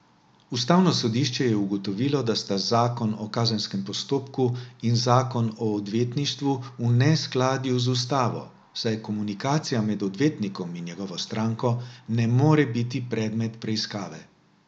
Ustavno sodišče je ugotovilo, da sta zakon o kazenskem postopku in zakon o odvetništvu v neskladju z ustavo, saj komunikacija med odvetnikom in njegovo stranko ne more biti predmet preiskave.